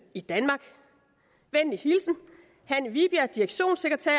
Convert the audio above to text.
i danmark venlig hilsen hanne vibjerg direktionssekretær